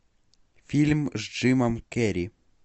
фильм с джимом керри